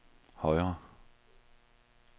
højre